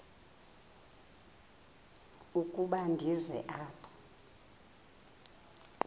ukuba ndize apha